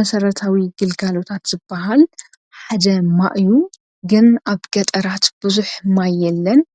መሰረታዊ ግልጋሎት ሓደ ቀረብ ማይ ዩ ኣብ ገጠር ግን ቀረብ ማይ የለን። ኣብ